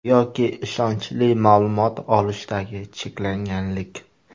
Yoki ishonchli ma’lumot olishdagi cheklanganlik.